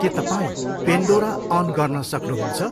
के तपाईँ Pandora on गर्न सक्नुहुन्छ?